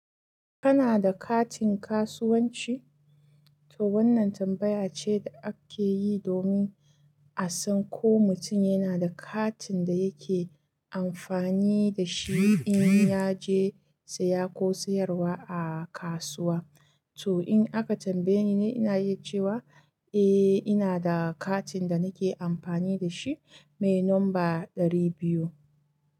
Kana da katin kasuwanci? To wannan tambaya ce da ake yi domin a san ko mutum yana da katin da yake amfani da shi in ya je saya ko sayarwa a kasuwa. To in aka tambaye ni, ina yi cewa eh ina da katin da nake amfani da shi mai nomba ɗari biyu.